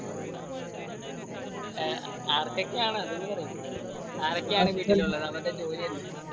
ങ്ഹാ ആർക്കൊക്കെയാണ് അതൊന്ന് പറയു. ആരൊക്കെയാണ് വീട്ടിൽ ഉള്ളത് അവരുടെ ജോലി എന്താ?